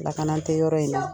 Lakana tɛ yɔrɔ in na.